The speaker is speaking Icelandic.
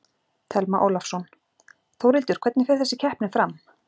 Telma Ólafsson: Þórhildur, hvernig fer þessi keppni fram?